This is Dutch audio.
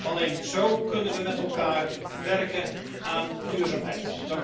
Alleen zo kunnen we met elkaar werken aan duurzaamheid.